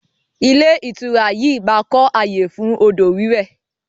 Ilé ìtura yìí máa kọ ayé fún odò wiwẹ̀